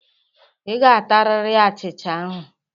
Ị ga-atarịrị achịcha ahụ.